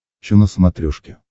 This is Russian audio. че на смотрешке